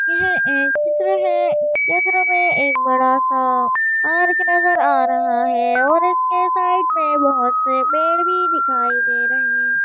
यह एक चित्र है इस चित्र में एक बड़ा सा आर्क नजर आ रहा है और इसकी साइड में बहुत से पेड़ भी दिखाई दे रहे--